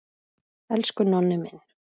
Elsku Nonni minn.